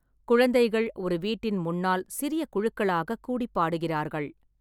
குழந்தைகள் ஒரு வீட்டின் முன்னால் சிறிய குழுக்களாகக் கூடி பாடுகிறார்கள்.